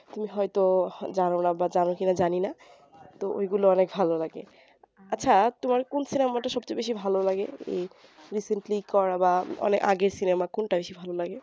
তুমি হয়তো জানো না বা জানো কিনা জানিনা তো এইগুলা অনেক ভালো লাগে আচ্ছা তোমার কুন cinama টা সব চেয়ে বেশি ভালো লাগে এই recently করা বা অনেক আগের cinema কুনটা বেশি ভালো লাগে